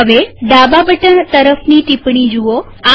હવે ડાબા બટન તરફની ટીપ્પણી જુઓ